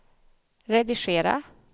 redigera